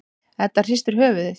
Edda hristir höfuðið.